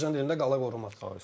Azərbaycan dilində qala qoruma.